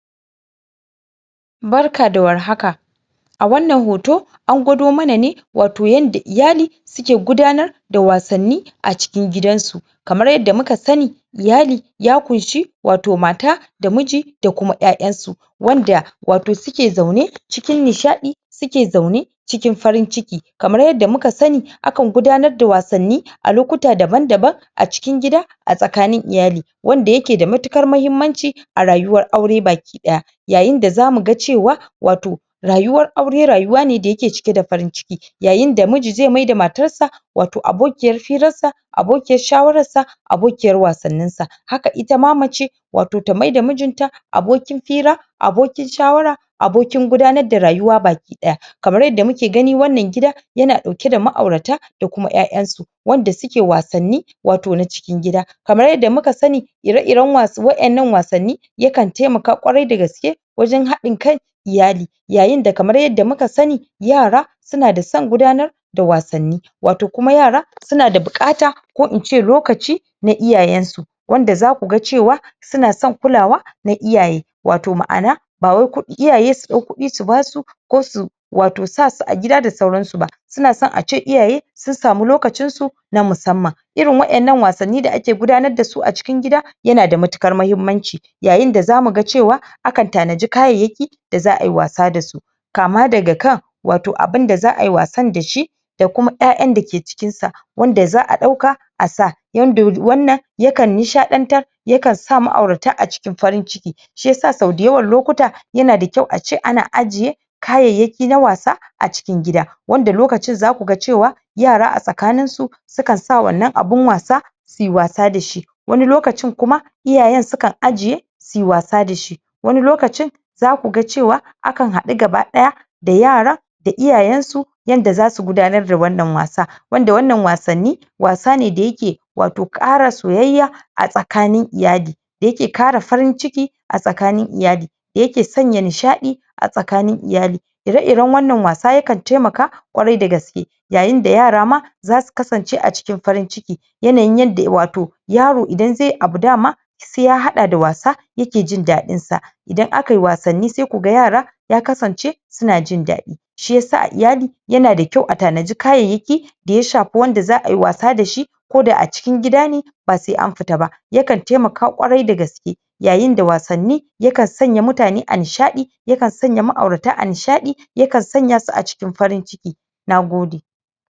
barka da war hak a wannan hoto angwado mana ne wato yanda iyali suke gaba tar da wasanni a cikin gidan su kamar yanda muka sani iyali ya kunshe wato mata da miji da kuma ƴa'ƴansu wanda wato suke zaune cikin nishaɗi suke zaune cikin farin ciki kamar yanda muka sani akan gudanar da wasanni a lokuta daban daban a cikin gida a tsakanin iyali wanda yake da matuƙar mahimmanci a rayuwar aure baki ɗaya yayin da zamu ga cewa wato rayuwar aure rayuwane da yake cike da farin ciki yayin da miji zai mayar da matarsa wato abokiyar firarsa abokiyar shawararsa abokiyar wasannan sa haka itama mace wato ta mayar da mijinta abokin fira abokin shawara abokin gudanar da rayuwa baki daya kamar yanda muke gani wannan gida yana ɗauke da ma'aurata da kuma ƴa'ƴansu wanda suke wasanni wato na cikin gida kamar yanda muka sani ire iran wannan wasanni yakan taimaka ƙwarai da gaske wajan haɗin kan iyali yayin da kamar yanda muka sani yara suna da san gudanar da wasanni wato kuma yara suna da buƙata ko ince lokaci na iyayansu wanda zaku ga cewa suna san kulawa na iyaye wato ma'ana bawai iyaye su ɗau kuɗi su basu ko su wato sasu a gida da sauransu ba suna so ace iyaye sun samu lokacinsu na musamman irin waɗannan wasanni da ake gudanar dasu a cikin gida yana da matuƙar mahimmanci yayin da zamu ga cewa akan tana di kayayyaki da za ayi wasa dasu kama daga kan wato abunda za ai wasan dashi da kuma ƴa'ƴan dake cikinsa wanda za a ɗauka asa yanda wannan yakan nishaɗantar ya kansa ma'aurata a cikin farin ciki shiyasa sau da yawan lokuta yana da kyau ace ana ajje kayayyaki na wasa a cikin gida wanda lokacin zaku ga cewa yara a tsakaninsu sukan sa wannan abun wasan suyi wasa dashi wani lokacin kuma iyayan sukan ajje suyi wasa dashi wasu lokacin za kuga cewa akan haɗu gaba ɗaya da yaran da iyayansu yanda zasu gudanar da wannan wasa wanda wannan wasanni wasane da yake wato ƙara soyayya a tsakanin iyali da yake ƙara farin cikin a tsakanin iyali yake sanya nishaɗi a tsakanin iyali ire iran wannan wasa yakan taimaka ƙwarai da gaske yayin da yara ma zasu kasance a cikin farin ciki yanayin yadda wato yaro idan zaiyi abu dama sai ya haɗa da wasa yake jindaɗin sa idan akai wasanni sai kuga yara ya kasance suna jindaɗi shiyasa iyali yana da kyau a tanadi kayayyaki da ya shafe wanda za ayi wasa dashi ko da a cikin gida ne basai anfita ba yakan taimaka ƙwarai da gaske yayin da wasanni yakan sanya mutane a nishaɗi yakan sanya ma'aurayata a nishaɗi yakan sanyasu a cikin farin ciki